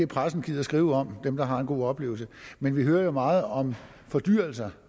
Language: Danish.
pressen gider skrive om dem der har en god oplevelse men vi hører jo meget om fordyrelser